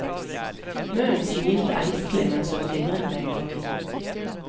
Munnen smilte engstelig mens hun fingret med et papir.